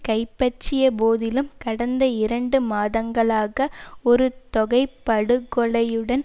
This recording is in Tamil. கைப்பற்றிய போதிலும் கடந்த இரண்டு மாதங்களாக ஒரு தொகை படுகொலை ளுடன்